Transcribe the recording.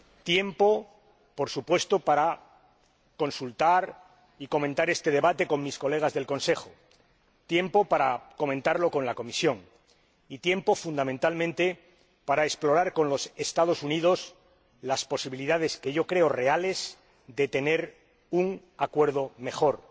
Tiempo, por supuesto, para consultar y comentar este debate con mis colegas del Consejo, tiempo para comentarlo con la Comisión y tiempo, fundamentalmente, para explorar con los Estados Unidos las posibilidades que yo creo reales de tener un Acuerdo mejor